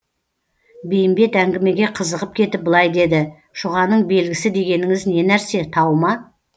бейімбет әңгімеге қызығып кетіп былай деді шұғаның белгісі дегеніңіз не нәрсе тау ма